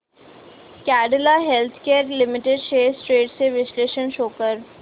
Cadila healthcare limited shares trends चे विश्लेषण show कर